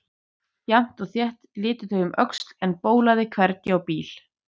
Jafnt og þétt litu þau um öxl en bólaði hvergi á bíl.